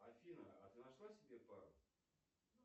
афина а ты нашла себе пару